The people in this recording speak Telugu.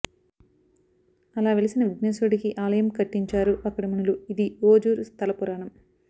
అలా వెలిసిన విఘ్నేశ్వరుడికి ఆలయం కట్టించారు అక్కడి మునులు ఇదీ ఓఝూర్ స్థలపురాణం